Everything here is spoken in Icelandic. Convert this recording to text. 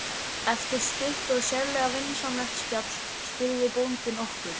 Eftir stutt og sérlega vinsamlegt spjall spurði bóndi okkur